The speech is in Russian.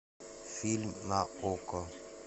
фильм на окко